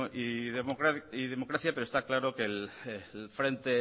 y democracia pero está claro que el frente